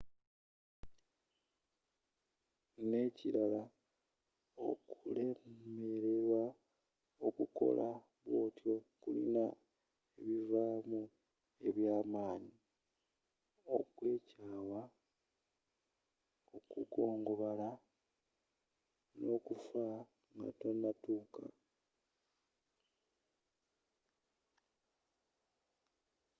n'ekirala okulemelerwa okukola bwotyo kilina ebivaamu eby'amaanyi okweekyaawa okugongobala n'okuffa nga tonatuuka